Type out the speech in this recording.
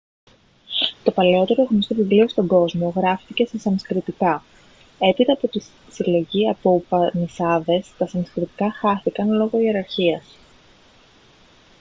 το παλαιότερο γνωστό βιβλίο στον κόσμο γράφτηκε στα σανσκριτικά έπειτα από τη συλλογή από ουπανισάδες τα σανσκριτικά χάθηκαν λόγω ιεραρχίας